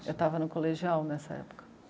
Eu estava no colegial nessa época.